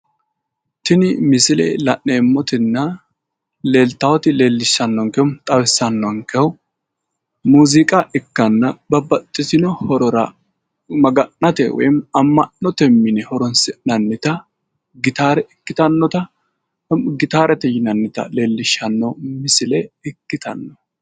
tinni misile la'neemotina leellitayoti leellishanokehu xawisannokehu muuziiqa ikkana babbaxxitino horora maga'nate woyim amma'note mine horoonsi'nanita gittare ikkitannota gitaare yinannita leellishanno misile ikkitano.